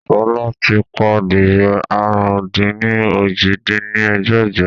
Sọlá ti pa adìyẹ àrún-dín-ní-ojì dín ní ẹgbẹ́jọ